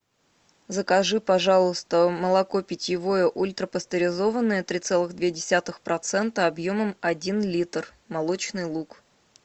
закажи пожалуйста молоко питьевое ультрапастеризованное три целых две десятых процента объемом один литр молочный луг